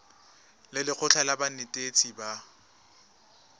le lekgotlha la banetetshi ba